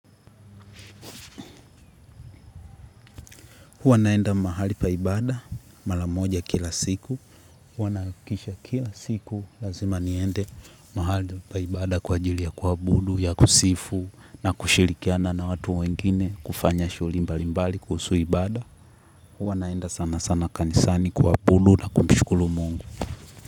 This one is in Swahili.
Huwa naenda mahali pa ibada mara moja kila siku. Huwa nahakikisha kila siku lazima niende mahali pa ibada kwa ajili ya kuabudu ya kusifu na kushirikiana na watu wengine kufanya shughuli mbali mbali kuhusu ibada. Huwa naenda sana sana kanisani kuabudu na kumshukuru mungu.